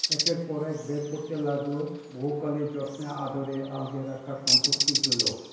একের পর এক বের করতে লাগলো বহুকালে যত্নে আদরে আগলে রাখা সম্পত্তিগুলো।